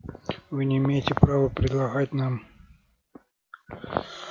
вы не имеете права предлагать нам